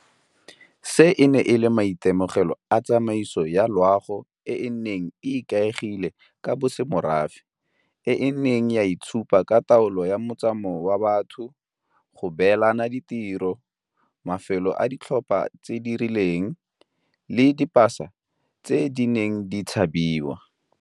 Seno e ne e le maitemogelo a tsamaiso ya loago e e neng e ikaegile ka bosemorafe, e e neng ya itshupa ka taolo ya motsamao wa batho, go beelana ditiro, mafelo a ditlhopha tse di rileng, le dipasa tse di neng di tshabiwa.